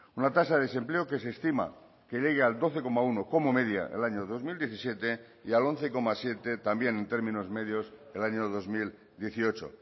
una tasa de desempleo que se estima que llegué al doce coma uno como media el año dos mil diecisiete y al once coma siete también en términos medios el año dos mil dieciocho